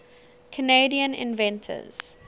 canadian inventors